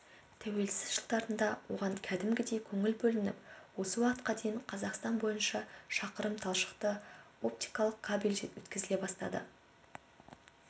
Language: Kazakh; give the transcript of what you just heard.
тәуелсіз жылдарында оған кәдімгідей көңіл бөлініп осы уақытқа дейін қазақстан бойынша шақырым талшықты-оптикалық кабель өткізіле бастады